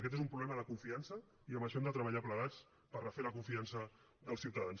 aquest és un problema de confiança i en això hem de treballar plegats per refer la confiança dels ciutadans